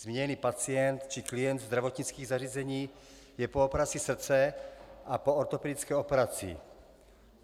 Zmíněný pacient či klient zdravotnických zařízení je po operaci srdce a po ortopedické operaci.